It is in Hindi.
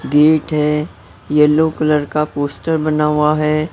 गेट है येलो कलर का पोस्टर बना हुआ है।